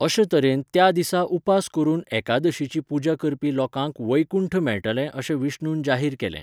अशे तरेन त्या दिसा उपास करून एकादशीची पुजा करपी लोकांक वैकुंठ मेळटलें अशें विष्णुन जाहीर केलें.